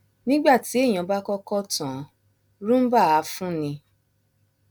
nígbà tí èèyàn bá kọkọ tàn án roomba á fúnni